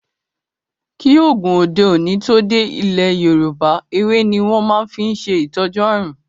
kí oògùn òde òni tó dé ilẹ Yorúbá, ewé ní wón máa fí n ṣe ìtọjú àrùn.